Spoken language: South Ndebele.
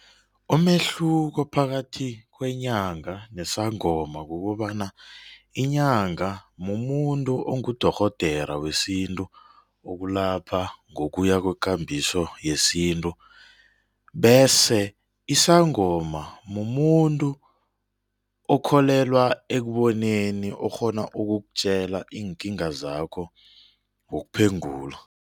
Umehluko phakathi kwenyanga nesangoma kukobana inyanga mumuntu ongudorhodera wesintu okulapha ngokuya kwekambiso yesintu. Bese isangoma mumuntu okholelwa ekuboneni okghona ukukutjela iinkinga zakho ngokuphengula.